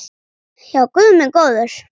Já, guð minn góður.